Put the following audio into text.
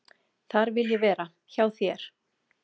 """Þar vil ég vera, hjá þér."""